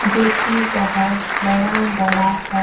जोकि बोहोत बड़ा-बड़ा है।